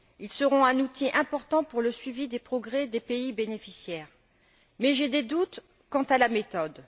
Ils seront un outil important pour le suivi des progrès des pays bénéficiaires, mais j'ai des doutes quant à la méthode.